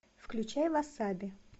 включай васаби